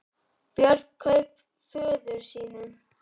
Björn kraup föður sínum.